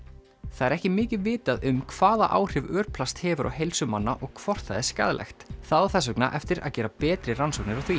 það er ekki mikið vitað um hvaða áhrif örplast hefur á heilsu manna og hvort það er skaðlegt það á þess vegna eftir að gera betri rannsóknir á því